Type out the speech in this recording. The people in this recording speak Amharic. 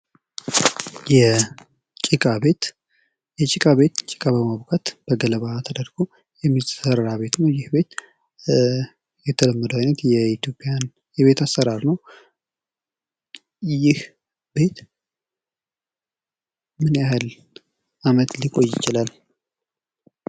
የጭቃ ቤት የጭቃ ቤት ጭቃ በማቡኳት በገለባ ተደርጎ የሚሰራበት ቤት ነው። ይህን ቤት የተለመደው አይነት የኢትዮጵያን የቤት አሠራር ነው። ይህ ቤት ምን ያህል ዓመት ሊቆይ ይችላል?